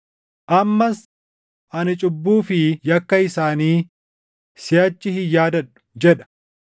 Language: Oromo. Ammas, “Ani cubbuu fi yakka isaanii siʼachi hin yaadadhu” + 10:17 \+xt Erm 31:34\+xt* jedha.